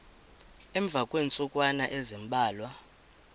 emva kweentsukwana ezimbalwa